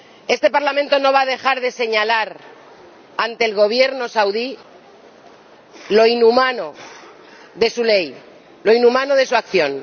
Este Parlamento no va a dejar de señalar ante el Gobierno saudí lo inhumano de su ley, lo inhumano de su acción.